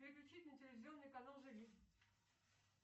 переключить на телевизионный канал живи